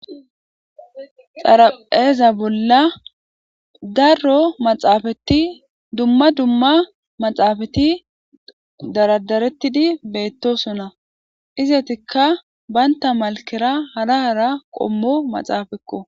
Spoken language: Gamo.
xarapheeza bolla darro maxaafati dumma dumma maxaafati daradarettidi beettosona izetikka baynta malkera hara hara qommo maxaafekko